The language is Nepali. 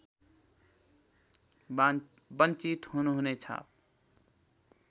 बञ्चित हुनुहुने छ